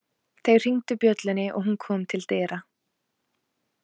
Þeir hringdu bjöllunni og hún kom til dyra.